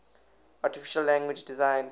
artificial language designed